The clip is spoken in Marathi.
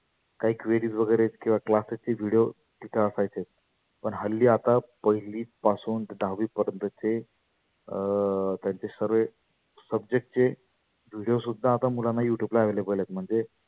कही query वगैरे किंवा classes चे video तीथे असायचे. पण हल्ली आता पहिली पासून ते दहावी पर्यंतचे अं त्यांचे सर्वे subject चे video सुद्धा मुलांना YouTube वर available आहेत. म्हणजे